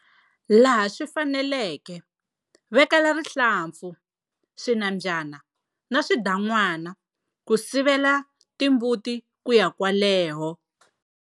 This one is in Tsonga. Laha swi faneleke, vekela rihlampfu, swinambyana na swidan'wana ku sivela timbuti ku ya kwaleho.